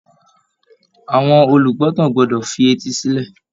Àwọn olùgbọ́tàn gbọ́dọ̀ fi etí sílẹ̀